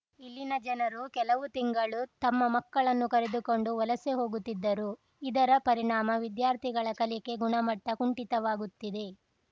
ಇಲ್ಲಿನ ಜನರು ಕೆಲವು ತಿಂಗಳು ತಮ್ಮ ಮಕ್ಕಳನ್ನು ಕರೆದುಕೊಂಡು ವಲಸೆ ಹೋಗುತ್ತಿದ್ದರು ಇದರ ಪರಿಣಾಮ ವಿದ್ಯಾರ್ಥಿಗಳ ಕಲಿಕೆ ಗುಣಮಟ್ಟಕುಂಠಿತವಾಗುತ್ತಿದೆ